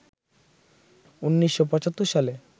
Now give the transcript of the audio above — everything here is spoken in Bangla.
১৯৭৫ সালে